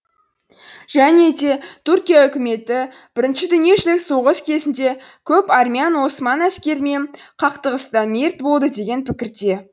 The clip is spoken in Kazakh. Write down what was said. және де туркия үкіметі бірінші дүниежүзілік соғыс кезінде көп армян осман әскерімен қақтығыста мерт болды деген пікірде